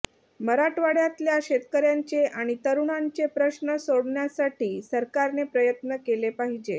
मराठवाडय़ातल्या शेतकऱयांचे आणि तरुणांचे प्रश्न सोडवण्यासाठी सरकारने प्रयत्न केले पाहिजेत